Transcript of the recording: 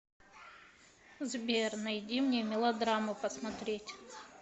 сбер найди мне мелодраму посмотреть